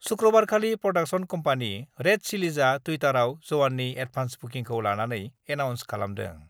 शुक्रबारखालि production company red चिलिजआ टुइटाराव जवाननि एडभान्स बुकिखौ लानानै एनाउन्स खालामदों।